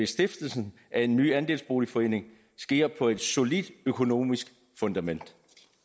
stiftelsen af en ny andelsboligforening sker på et solidt økonomisk fundament